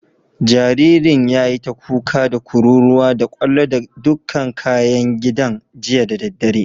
Jaririn yayi ta kuka, da kururuwa, da kwallo da dukan kayan gidan jiya da daddare.